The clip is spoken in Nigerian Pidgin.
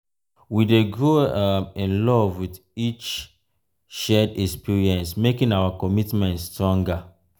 we dey grow um in love with each shared um experience um making our commitment stronger.